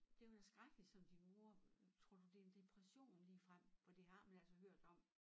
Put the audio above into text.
Det var da skrækkeligt som din mor tror du det er en depression ligefrem for de har man altså hørt om